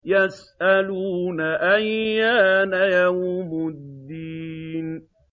يَسْأَلُونَ أَيَّانَ يَوْمُ الدِّينِ